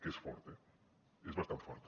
que és fort eh és bastant fort